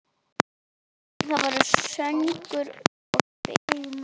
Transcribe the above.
Það verður söngur og spil.